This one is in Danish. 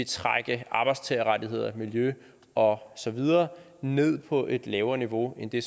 trække arbejdstagerrettigheder miljø og så videre ned på et lavere niveau end det